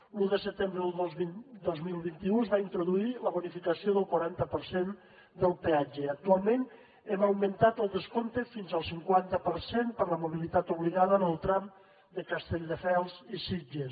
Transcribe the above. l’un de setembre del dos mil vint u es va introduir la bonificació del quaranta per cent del peatge i actualment hem augmentat el descompte fins al cinquanta per cent per a la mobilitat obligada en el tram de castelldefels i sitges